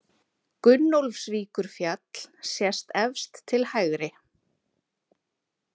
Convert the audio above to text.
Gunnólfsvíkurfjall sést efst til hægri.